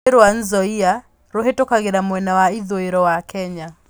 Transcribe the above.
Rũũĩ rwa Nzoia rũhĩtũkagĩra mwena wa ithũĩro wa Kenya.